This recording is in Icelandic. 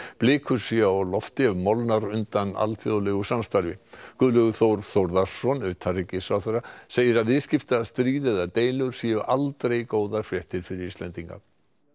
blikur séu á lofti ef molnar undan alþjóðlegu samstarfi Guðlaugur Þór Þórðarson utanríkisráðherra segir að viðskiptastríð eða deilur séu aldrei góðar fréttir fyrir Íslendinga